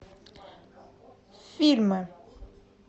фильмы